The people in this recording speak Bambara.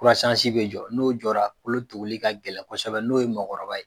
Kurasansi be jɔrɔ, n'o jɔra kolo tuguli ka gɛlɛn kɔsɛbɛ n'o ye mɔɔkɔrɔba ye.